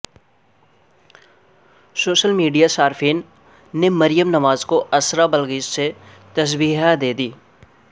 social میڈیاصارفین نےمریم نواز کواسرا بلگیچ سے تشبیہہ دیدی